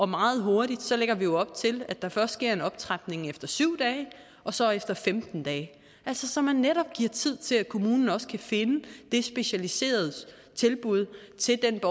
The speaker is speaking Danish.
meget hurtigt så lægger vi op til her at der først sker en optrapning efter syv dage og så efter femten dage altså så man netop giver tid til at kommunen også kan finde det specialiserede tilbud til den